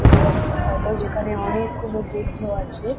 তোদের একটা ফটো যেখানে অনেকগুনো বুদ্ধ আছে।